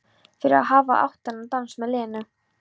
Fyrir að hafa átt þennan dans með Lenu.